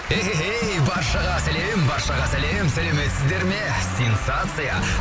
баршаға сәлем баршаға сәлем сәлеметсіздер ме сенсация